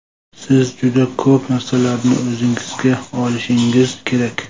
Siz juda ko‘p narsalarni o‘zingizga olishingiz kerak.